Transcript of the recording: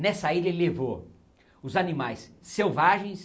Nessa ilha ele levou os animais selvagens